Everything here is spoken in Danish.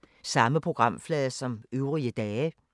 Samme programflade som øvrige dage